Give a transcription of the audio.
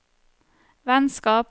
vennskap